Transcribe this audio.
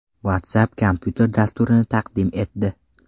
WhatsApp kompyuter dasturini taqdim etdi.